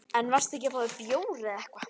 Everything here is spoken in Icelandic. En varstu ekki að fá þér bjór eða eitthvað?